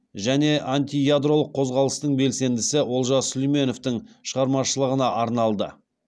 және антиядролық қозғалыстың белсендісі олжас сүлейменовтің шығармашылығына арналды